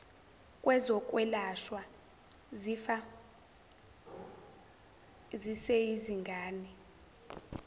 lwezokwelashwa zifa ziseyizingane